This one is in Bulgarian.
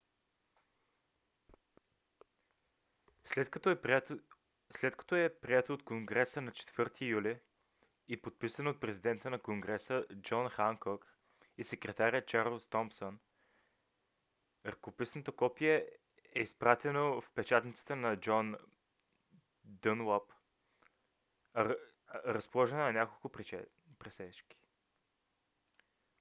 след като е прието от конгреса на 4-и юли и подписано от президента на конгреса джон ханкок и секретаря чарлз томсън ръкописното копие е изпратено в печатницата на джон дънлап разположена на няколко пресечки